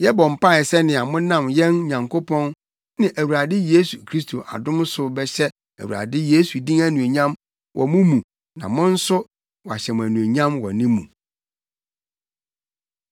Yɛbɔ mpae sɛnea monam yɛn Nyankopɔn ne Awurade Yesu Kristo adom so bɛhyɛ Awurade Yesu din anuonyam wɔ mo mu na mo nso, wɔahyɛ mo anuonyam wɔ ne mu.